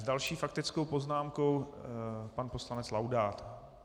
S další faktickou poznámkou pan poslanec Laudát.